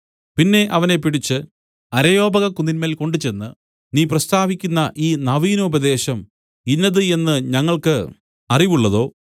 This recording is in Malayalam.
പിന്നെ അവനെ പിടിച്ച് അരയോപഗക്കുന്നിന്മേൽ കൊണ്ടുചെന്ന് നീ പ്രസ്താവിക്കുന്ന ഈ നവീനോപദേശം ഇന്നത് എന്ന് ഞങ്ങൾക്ക് അറിവുള്ളതോ